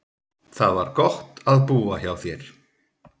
Það var gott að búa hjá þér.